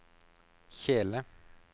kjele